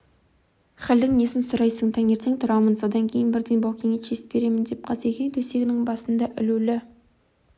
халдің несін сұрайсың таңертең тұрамын содан кейін бірден баукеңе честь беремін деп қасекең төсегінің басында ілулі